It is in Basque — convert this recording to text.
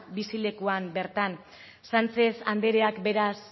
bizilekuan bertan sánchez andreak